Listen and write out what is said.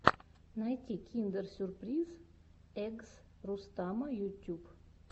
найти киндер сюрприз эггс рустама ютьюб